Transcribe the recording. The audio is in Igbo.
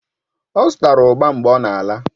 Ọ zụtara ugba mgbe ọ na-ala